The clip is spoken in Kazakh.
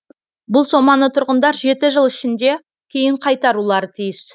бұл соманы тұрғындар жеті жыл ішінде кейін қайтарулары тиіс